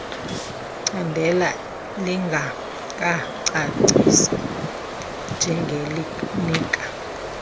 candela lingangacacisi njengelinika